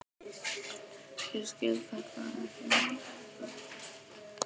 Ég skil þetta ekki frekar en þú.